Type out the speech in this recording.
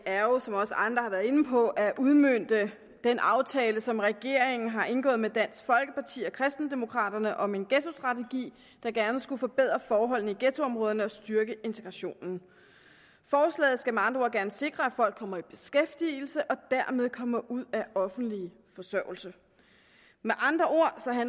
er jo som også andre har været inde på at udmønte den aftale som regeringen har indgået med dansk folkeparti og kristendemokraterne om en ghettostrategi der gerne skulle forbedre forholdene i ghettoområderne og styrke integrationen forslaget skal med andre ord gerne sikre at folk kommer i beskæftigelse og dermed kommer ud af offentlig forsørgelse med andre